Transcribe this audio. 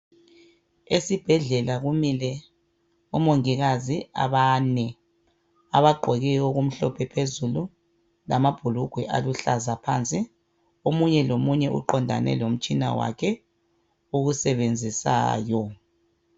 Esibhedlela kumile omongikazi abane abagqoke okumhlophe phezulu lamabhulugwe aluhlaza phansi omunye lomunye uqondane lomtshina wakhe owusebenzisayo